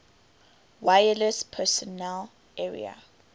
wireless personal area